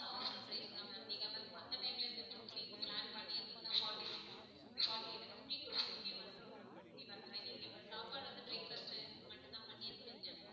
இது வந்து offer price தான் ma'am நீங்க வந்து மத்த time ல இந்த trip நீங்க plan பண்ணியிருந்தீங்கன்னா forty six forty fifty fifty வந்திரும் ma'am fifty வந்திரும் ma'am நீங்க சாப்பாடு வந்து breakfast இது மட்டும் தான் பண்ணிருக்கீங்க.